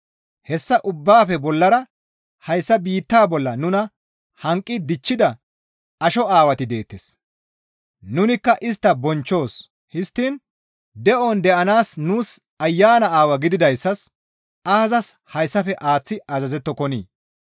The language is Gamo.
Hessa ubbaafe bollara hayssa biitta bolla nuna hanqi dichchida asho aawati deettes; nunikka istta bonchchoos; histtiin de7on deyanaas nuus Ayana Aawaa gididayssas aazas hessafe aaththi azazettokonii?